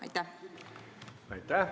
Aitäh!